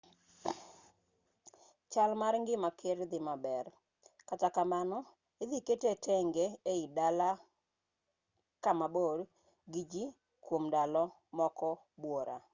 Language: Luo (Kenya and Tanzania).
chal mar ngima ker dhi maber kata kamano idhi kete tenge ei dala kama bor gi ji kwom ndalo moko buora